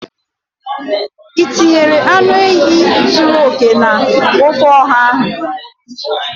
Ị tinyere anụ ehi zuru oke na ofe oha ahụ?